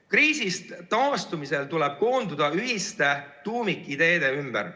Kriisist taastumisel tuleb koonduda ühiste tuumikideede ümber.